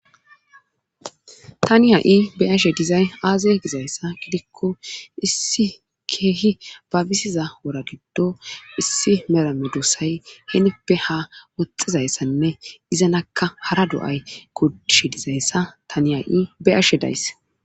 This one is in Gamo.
tani ha7i beashe dizay aaze gizayssa gidikko issi keehi babisiza wora giddo issi merame duossay heenippe ha woxxizayssanne izanakka hara do7ay kodish dizayssa tani ha7i beashe daysse